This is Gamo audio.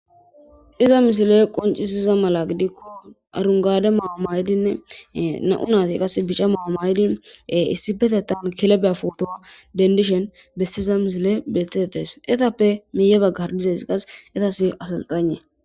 iza misile qoncisiza mala gidikko arungade maayo maydinne na7u naati qas bica maamaydi issi betetan kilebeya fuotowa dendishen bessiza misile betetes etappe miiye baggardizays qas etas asalxane